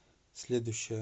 следующая